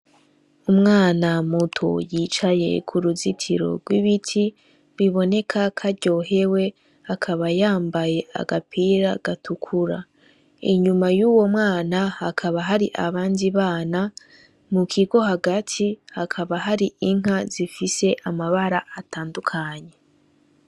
Umwana muto yicaye k'uruzitiro rw'ibiti, biboneka ko aryohewe, akaba yambaye agapira gatukura. Inyuma y'uwo mwana hakaba hari abandi bana, mukigo hagati hakaba hari inka zifise amabara atandukanye.